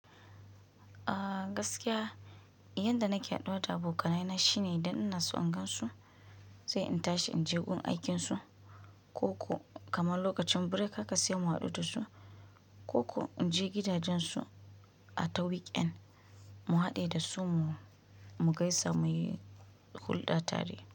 Ah gaskiya, yanda nake haɗuwa da abokanaina ne shine idan ina son in gansu, sai in tashi inje gun aikinsu, ko ko kamar lokacin break haka sai mu haɗu da su, ko ko inje gidajen su a ta weekend mu haɗe da su mu mu gaisa muyi hulɗa tare.